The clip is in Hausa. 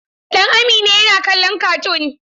Dan Amina yana kallon katun.